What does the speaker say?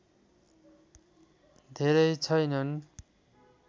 धेरै छैनन्